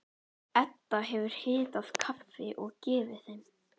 Edda hefur hitað kaffi og gefið þeim.